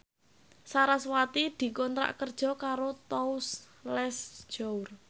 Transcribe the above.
sarasvati dikontrak kerja karo Tous Les Jour